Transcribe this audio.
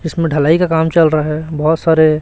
जिसमें ढलाई का काम चल रहा है बहोत सारे--